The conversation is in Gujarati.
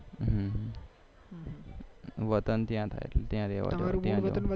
વતન ત્યાં થાય ત્યાં રેહેવાનું